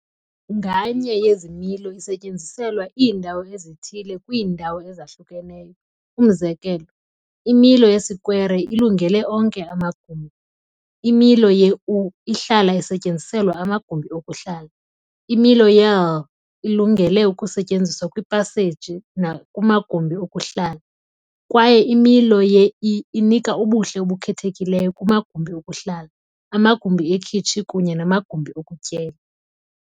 Nganye yezi milo isetyenziselwa iindawo ezithile kwiindawo ezahlukeneyo, umzekelo, imilo yesikwere ilungele onke amagumbi, imilo Ye-U ihlala isetyenziselwa amagumbi okuhlala, imilo Ye-L ilungele ukusetyenziswa kwiipaseji nakumagumbi okuhlala, kwaye imilo ye-I inika ubuhle obukhethekileyo kumagumbi okuhlala, amagumbi ekhitshi kunye namagumbi okutyela.